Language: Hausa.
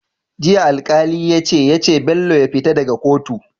Jiya alkali yace yace Bello ya fita daka kotu